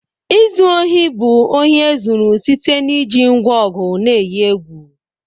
Izu ohi bu ohi ezuru site n'iji ngwa ọgụ na eyi egwu.